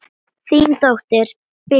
Þín dóttir, Bylgja.